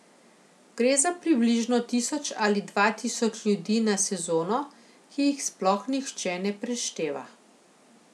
Gre za približno tisoč ali dva tisoč ljudi na sezono, ki jih sploh nihče ne prešteva.